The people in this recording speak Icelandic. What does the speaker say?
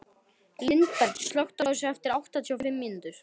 Lindberg, slökktu á þessu eftir áttatíu og fimm mínútur.